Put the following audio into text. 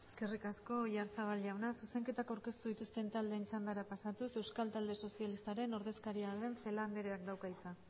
eskerrik asko oyarzabal jauna zuzenketak aurkeztu dituzten taldeen txandara pasatuz euskal talde sozialistaren ordezkaria den celáa andreak dauka hitza